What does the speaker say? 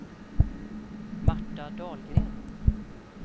Marta Dahlgren